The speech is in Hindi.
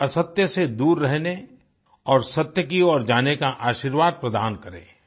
मुझे असत्य से दूर रहने और सत्य की ओर जाने का आशीर्वाद प्रदान करें